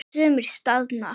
Sumir staðna.